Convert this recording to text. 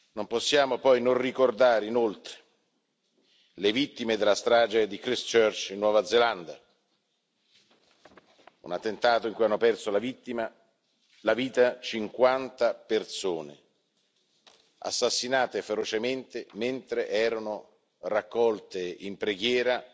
Non possiamo non ricordare, inoltre, le vittime della strage di Christchurch, in Nuova Zelanda, un attentato in cui hanno perso la vita cinquanta persone, assassinate ferocemente mentre erano raccolte in preghiera